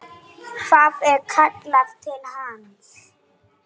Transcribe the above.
Það er kallað til hans.